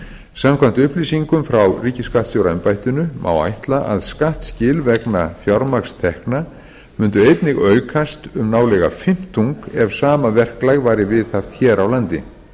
samkvæmt upplýsingum frá ríkisskattstjóraembættinu má ætla að skattskil vegna fjármagnstekna mundu einnig aukast um nálega fimmtung ef sama verklag væri viðhaft hér á landi